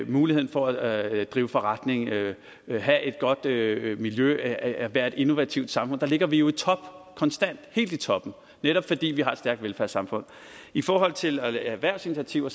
muligheden for at drive forretning at have et godt miljø miljø at at være et innovativt samfund der ligger vi jo i top konstant helt i toppen netop fordi vi har et stærkt velfærdssamfund i forhold til erhvervsinitiativer